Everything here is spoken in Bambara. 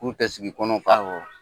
Kun tɛ sigi kɔnɔ fa; Awɔ.